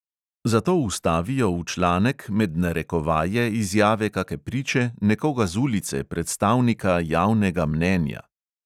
Zato vstavijo v članek med narekovaje izjave kake priče, nekoga z ulice, predstavnika javnega mnenja.